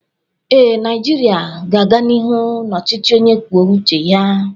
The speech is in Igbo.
Ee, Naijiria ga-aga n'ihu na ọchịchị onye kwuo uche ya